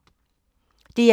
DR1